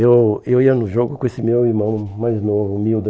Eu eu ia no jogo com esse meu irmão mais novo, humilde.